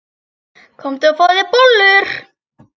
Komdu og fáðu þér bollur.